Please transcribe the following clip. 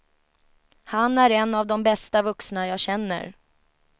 Han är en av de bästa vuxna jag känner.